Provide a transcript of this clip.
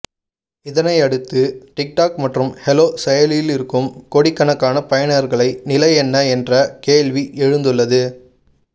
இதனை அடுத்து டிக்டாக் மற்றும் ஹலோ செயலியில் இருக்கும் கோடிக்கணக்கான பயனர்களை நிலை என்ன என்ற கேள்வி எழுந்துள்ளது